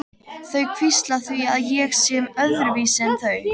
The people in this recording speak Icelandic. Þau hvísla því með að ég sé öðruvísi en þau.